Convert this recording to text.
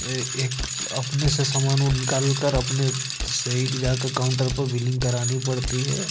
एक अपने से सामान निकाल कर अपने सेही जाकर काउंटर पर बिलिंग करानी पड़ती है।